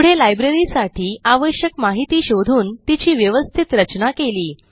पुढे libraryसाठी आवश्यक माहिती शोधून तिची व्यवस्थित रचना केली